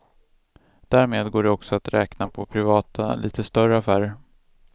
Därmed går det också att räkna på privata, lite större affärer.